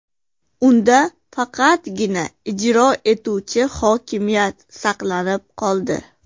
Unda faqatgina ijro etuvchi hokimiyat saqlanib qoldi.